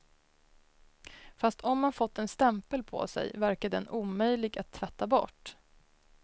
Fast om man fått en stämpel på sig, verkar den omöjlig att tvätta bort.